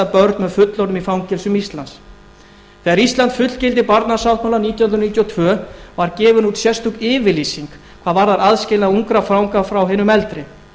fullorðnum í fangelsum íslands þegar ísland fullgilti barnasáttmálann nítján hundruð níutíu og tvö var bein út sérstök yfirlýsing hvað varðar aðskilnað ungra fanga frá hinum eldri